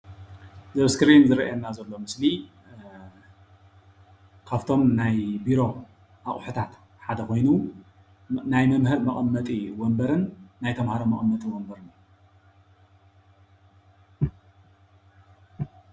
እዚ ኣብ እስክሪን ዝረአየና ዘሎ ምስሊ አ ካብቶም ናይ ቢሮ ኣቁሕታት ሓደ ኮይኑ ናይ መምህር መቐመጢ ወንበርን ናይ ተማሃሮ መቐመጢ ወንበርን